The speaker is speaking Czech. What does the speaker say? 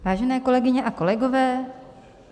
Vážené kolegyně a kolegové.